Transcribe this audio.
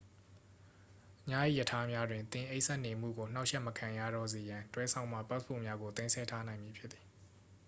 ညအိပ်ရထားများတွင် သင်အိပ်စက်နေမှုကို နှောင့်ယှက်မခံရတော့စေရန် တွဲစောင့်မှ ပတ်စ်ပို့များကို သိမ်းဆည်းထားနိုင်မည်ဖြစ်သည်